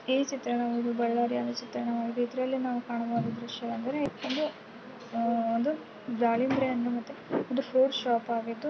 ಈ ಚಿತ್ರನವು ಇದು ಬೆಳ್ಳಾರಿ ಅನ್ಸುತ್ತೆ. ಇದ್ರಲ್ಲಿ ನಾವು ಕಾಣುವ ದೃಶ್ಯವೆಂದರೆ ಇದು ಆ- ಒಂದು ದಾಳಿಂಬ್ರೆ ಅನ್ನು ಮತ್ತೆ ಒಂದು ಫ್ರೂಟ್ ಶಾಪ್ ಆಗಿದ್ದು--